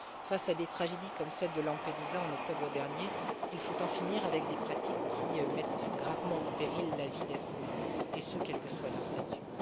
Face à des tragédies comme celle de Lampedusa en octobre dernier, il faut en finir avec des pratiques qui mettent gravement en péril la vie d'êtres humains, et ce quel que soit leur statut.